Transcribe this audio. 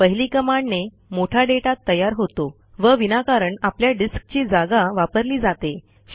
पहिली कमांडने मोठा डेटा तयार होतो व विनाकारण आपल्या डिस्कची जागा वापरली जाते